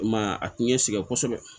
I m'a ye a ti ɲɛ sɛgɛn kosɛbɛ